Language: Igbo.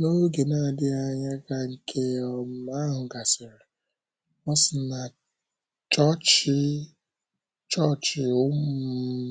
N’oge na - adịghị anya ka nke um ahụ gasịrị, O si na chọọchị um